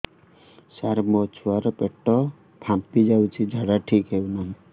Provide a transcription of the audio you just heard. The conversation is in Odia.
ସାର ମୋ ଛୁଆ ର ପେଟ ଫାମ୍ପି ଯାଉଛି ଝାଡା ଠିକ ସେ ହେଉନାହିଁ